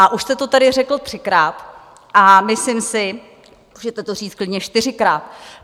A už jste to tady řekl třikrát a myslím si - můžete to říct klidně čtyřikrát.